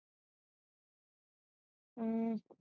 ਹੂ